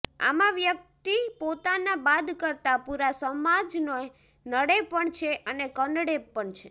આમાં વ્યક્તિ પોતાને બાદ કરતાં પૂરા સમાજને નડે પણ છે અને કનડે પણ છે